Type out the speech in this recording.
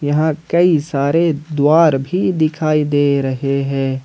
यहां कई सारे द्वारा भी दिखाई दे रहे हैं।